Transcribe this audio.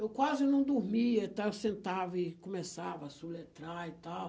Eu quase não dormia e tal, eu sentava e começava a soletrar e tal.